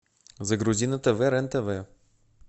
загрузи на тв рен тв